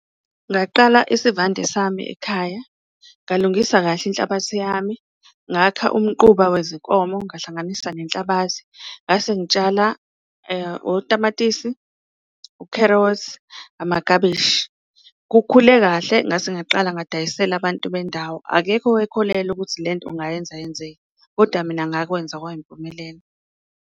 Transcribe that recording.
Ngaqala isivande sami ekhaya ngalungisa kahle inhlabathi yami, ngakha umquba wezinkomo, ngahlanganisa nenhlabathi ngase ngitshala otamatisi, ukherothi, amakabishi kukhule kahle. Ngase ngaqala ngadayisela abantu bendawo, akekho owayekholelwa ukuthi le nto ngayenza yenzeke kodwa mina ngakwenza kwayimpumelelo.